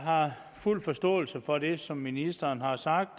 har fuld forståelse for det som ministeren har sagt